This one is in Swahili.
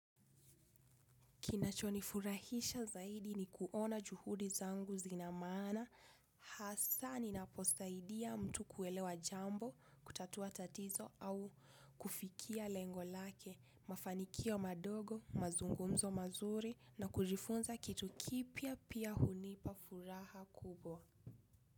Kinachonifurahisha zaidi ni kuona juhudi zangu zinamaana, hasa ni naposaidia mtu kuelewa jambo, kutatua tatizo au kufikia lengolake, mafanikio madogo, mazungumzo mazuri na kujifunza kitu kipya pia hunipa furaha kubwa.